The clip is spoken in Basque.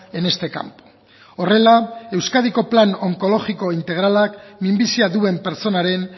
en este campo horrela euskadiko plan onkologiko integralak minbizia duen pertsonaren